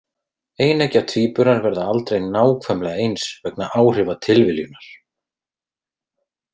Eineggja tvíburar verða aldrei nákvæmlega eins vegna áhrifa tilviljunar.